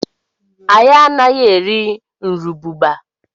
Anyị anaghị eri nrububa.